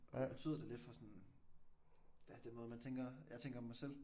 Betyder da lidt for sådan ja den måde man tænker jeg tænker om mig selv